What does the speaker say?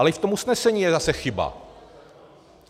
Ale i v tom usnesení je zase chyba.